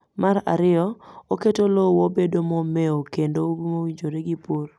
Mar ariyo, oketo lowo bedo momeo kendo mowinjore gi pur